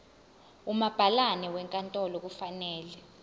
umabhalane wenkantolo kufanele